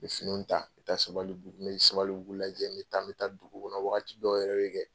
N bɛ finiw ta n bɛ taa Sabali Bugu n bɛ Sabalibugu lajɛ n bɛ taa n bɛ taa dugu kɔnɔ waati dɔ yɛrɛ de